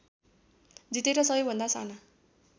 जितेर सबैभन्दा साना